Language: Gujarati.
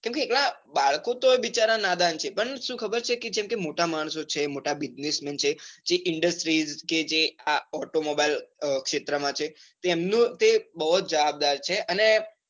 કેમ કે બાળકો તો બિચારા નાદાન છે. પણ સુ ખબર છે, કે મોટા માણસો છે મોટા bussinessmen છે, જે industries કે જે automobile ક્ષેત્ર માં છે એમનો તે બૌ જવાબદાર છે.